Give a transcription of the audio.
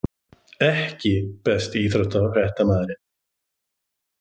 EKKI besti íþróttafréttamaðurinn??